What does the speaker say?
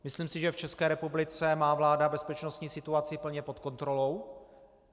Myslím si, že v České republice má vláda bezpečnostní situaci plně pod kontrolou.